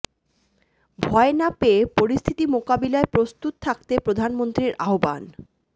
ভয় না পেয়ে পরিস্থিতি মোকাবিলায় প্রস্তুত থাকতে প্রধানমন্ত্রীর আহ্বান